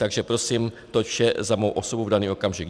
Takže prosím, toť vše za mou osobu v daný okamžik.